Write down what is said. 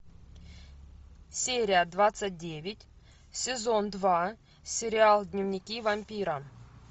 серия двадцать девять сезон два сериал дневники вампира